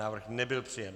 Návrh nebyl přijat.